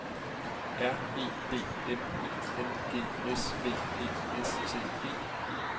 R E D N I N G S V E S T E